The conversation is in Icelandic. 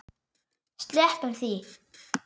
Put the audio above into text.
Sleppum því.